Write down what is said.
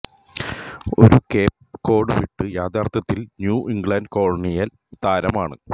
ഒരു Cape Cod വീട് യഥാർത്ഥത്തിൽ ന്യൂ ഇംഗ്ലണ്ട് കൊളോണിയൽ തരം ആണ്